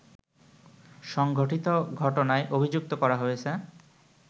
সংঘটিত ঘটনায় অভিযুক্ত করা হয়েছে